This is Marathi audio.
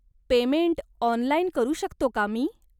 पेमेंट ऑनलाईन करू शकतो का मी?